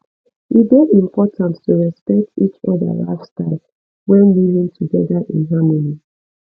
e dey important to respect each other lifestyle when living together in harmony